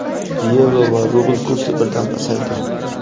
yevro va rubl kursi birdan pasaydi.